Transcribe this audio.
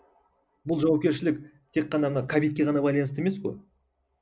бұл жауапкершілік тек қана ана ковидке ғана байланысты емес қой